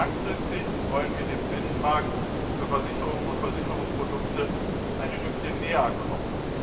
Langfristig wollen wir dem Binnenmarkt für Versicherungen und Versicherungsprodukte ein Stückchen näher kommen.